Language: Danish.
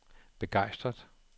begejstret